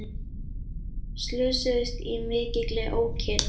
Slösuðust í mikilli ókyrrð